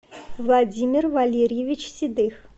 владимир валерьевич седых